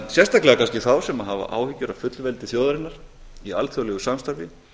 sérstaklega kannski þá sem hafa áhyggjur af fullveldi þjóðarinnar í alþjóðlegu samstarfi